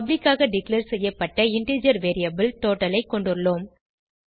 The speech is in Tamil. பப்ளிக் ஆக டிக்ளேர் செய்யப்பட்ட இன்டிஜர் வேரியபிள் டோட்டல் ஐ கொண்டுள்ளோம்